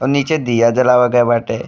और नीचे दिया जलावा गए बाटे।